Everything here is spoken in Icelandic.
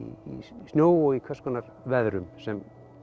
snjó og í hvers konar veðrum sem